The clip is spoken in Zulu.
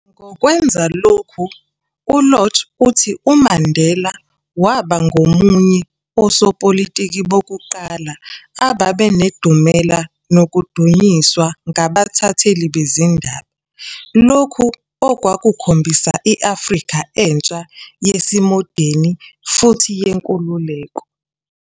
Ngokwenza lokho uLodge uthi uMandela waba ngomunye osopolitiki bokuqala ababenedumela nokudunyiswa ngabathatheli bezindaba, lokhu okwakukhombisa i-Afrika entsha yesimodeni, futhi yenkululeko ".